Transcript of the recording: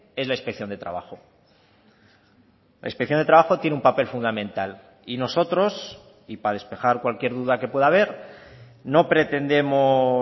es la inspección de trabajo la inspección de trabajo tiene un papel fundamental y nosotros y para despejar cualquier duda que pueda haber no pretendemos